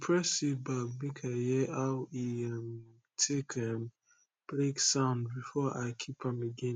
press seed bag make i hear aw e um take um break sound before i keep am again